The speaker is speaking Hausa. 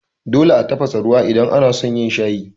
Dole a tafasa ruwa idan anason yin shayi.